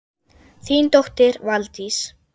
Þín dóttir, Valdís.